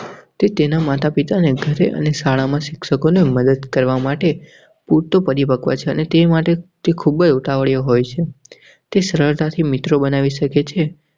તે તેના માતા પિતાને ઘરે અને શાળામાં શિક્ષકોની મદદ કરવા માટે પૂરતો પ્રતિભાવ છે અને તે માટે તે ખૂબ ઉતાવળીયો હોય છે. તે શ્રદ્ધાથી મિત્રો બનાવી શકે છે.